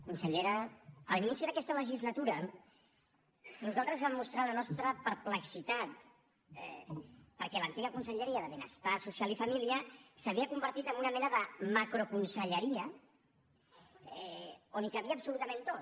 consellera a l’inici d’aquesta legislatura nosaltres vam mostrar la nostra perplexitat perquè l’antiga conselleria de benestar social i família s’havia convertit amb una mena de macroconselleria on hi cabia absolutament tot